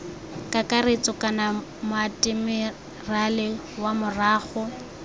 kakaretso kana moatemerale wa morago